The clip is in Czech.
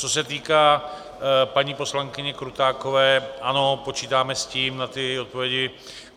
Co se týká paní poslankyně Krutákové, ano, počítáme s tím, na ty odpovědi.